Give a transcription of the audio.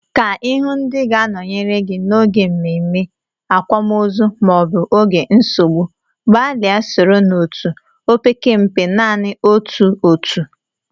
Ka Ị hụụ ndị ga-anọnyere gị n'oge mmemme, akwamozu maọbụ oge nsogbu, gbalịa soro n'otu, opekempe, naanị otu otu.